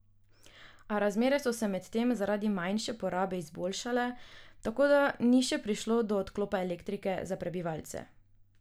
A razmere so se medtem zaradi manjše porabe izboljšale, tako da ni še prišlo do odklopa elektrike za prebivalce.